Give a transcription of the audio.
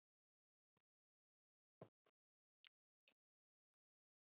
Gervigígar myndast þegar hraun rennur yfir vatnsósa jarðveg, til dæmis mýri, vatnsbakka eða árfarveg.